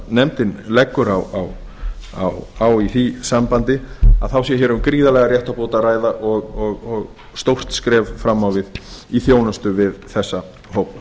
nefndin leggur á því sambandi sé hér um gríðarlega réttarbót að ræða og stórt skref fram á við í þjónustu við þessa hópa